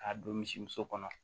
K'a don misi muso kɔnɔ